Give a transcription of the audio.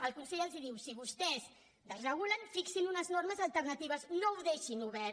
el consell els diu si vostès desregulen fixen unes normes alternatives no ho deixin obert